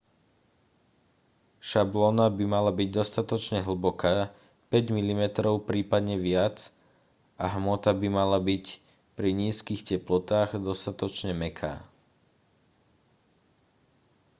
šablóna by mala byť dostatočne hlboká 5 mm prípadne viac a hmota by mala byť pri nízkych teplotách dostatočne mäkká